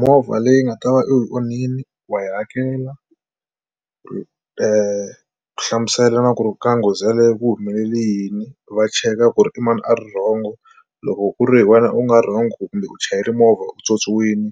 Movha leyi nga ta va u onhile wa yi hakela u hlamusela ku ri ka nghozi yaleyo ku humelele yini va cheka ku ri i mani a ri wrong-o loko ku ri wena u nga wrong kumbe u chayela movha u tsoniwini